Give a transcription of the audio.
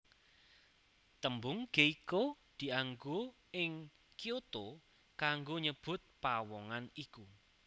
Tembung geiko dianggo ing Kyoto kanggo nyebut pawongan iku